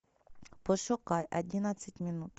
пошукай одиннадцать минут